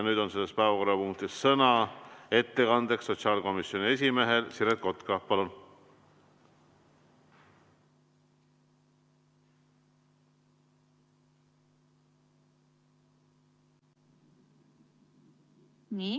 Nüüd on selles päevakorrapunktis sõna ettekandeks sotsiaalkomisjoni esimehel Siret Kotkal, palun!